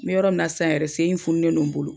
N bɛ yɔrɔ min na sisan yɛrɛ sen de fununen don n bolo.